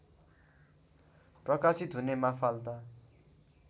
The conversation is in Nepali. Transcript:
प्रकाशित हुने माफाल्दा